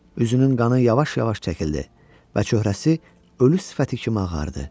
Üzünün qanı yavaş-yavaş çəkildi və cöhrəsi ölü sifəti kimi ağardı.